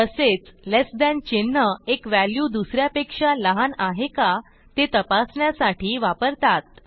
तसेच less than चिन्ह एक व्हॅल्यू दुस यापेक्षा लहान आहे का ते तपासण्यासाठी वापरतात